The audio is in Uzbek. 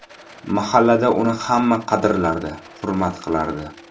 Mahallada uni hamma qadrlardi, hurmat qilardi.